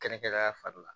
Kɛrɛnkɛrɛnnenya fari la